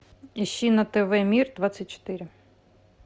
ищи на тв мир двадцать четыре